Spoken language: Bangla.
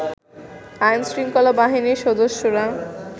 আইনশৃঙ্খলা বাহিনীর সদস্যরা